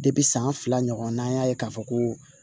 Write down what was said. san fila ɲɔgɔnna y'a ye k'a fɔ ko